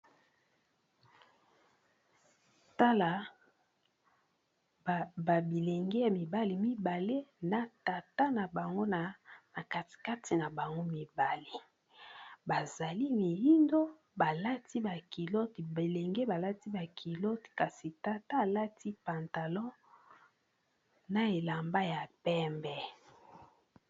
Tala ba bilenge ya mibale mibale na tata na bango kati kati na bango mibale bazali miyindo balati ba kilote bilenge balati ba kilote kasi tata alati pantalon na elamba ya pembe.